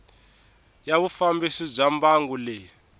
ya vufambisi bya mbangu leyi